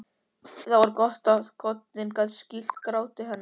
Það var gott að koddinn gat skýlt gráti hennar.